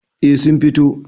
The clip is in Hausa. eh sun fito